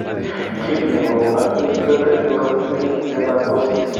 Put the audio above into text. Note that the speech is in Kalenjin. Kiit negonu acute febrile neutrophilic dermatosis